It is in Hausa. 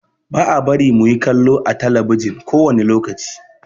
Ba a bari mu yi kallo ã telebijin kowane lokaci.